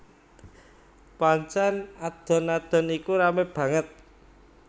Pancèn adon adon iku ramé banget